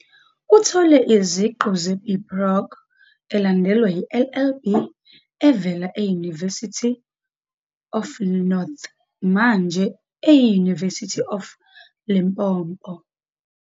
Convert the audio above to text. Uthole iziqu ze-BProc elandelwa yi-LLB evela e- University of the North, manje eyi-University of Limpopo.